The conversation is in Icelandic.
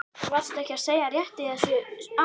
Varstu ekki að segja rétt í þessu að?